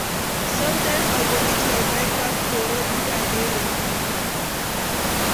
Sometimes I go eat my breakfast for road if I dey late.